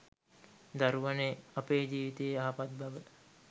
දරුවනේ අපේ ජීවිතයේ යහපත් බව